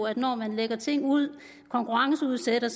at når man lægger ting ud konkurrenceudsætter